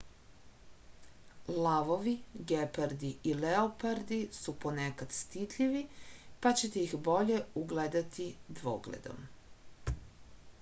lavovi gepardi i leopardi su ponekad stidljivi pa ćete ih bolje ugledati dvogledom